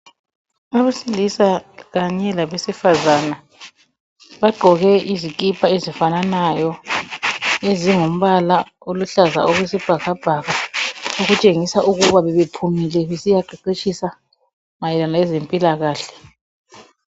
Abesilisa kanye labesifazana bagqoke izikipa ezifananayo ezingumbala oluhlaza okwesibhakabhaka okutshengisa ukuba bebephumile besiya qeqetshisa mayelana lezempilakahle.